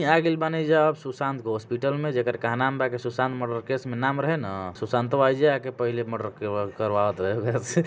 के आ गइल बानि जा अब सुशांत के हॉस्पिटल में जेकर कहनाम बा कि सुशांत मर्डर केस में नाम रहे न सुशांतवा ऐजा आके पहिले मर्डर कर-करवावत रहे। ओकरा से।